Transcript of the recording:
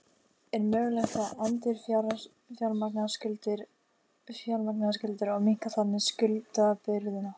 Er mögulegt að endurfjármagna skuldirnar og minnka þannig skuldabyrðina?